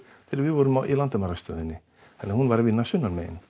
þegar við vorum í landamærastöðinni þannig hún var að vinna sunnanmegin